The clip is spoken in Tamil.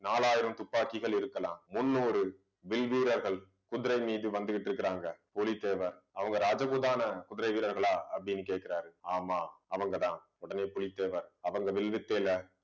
நாலாயிரம் துப்பாக்கிகள் இருக்கலாம் முன்னூறு வில் வீரர்கள் குதிரை மீது வந்துகிட்டு இருக்காங்க பூலித்தேவன் அவங்க ராஜகுதான குதிரை வீரர்களா அப்படின்னு கேட்கிறாரு ஆமாம் அவங்கதான் புலித்தேவன் அவங்க வில்லு வித்தையில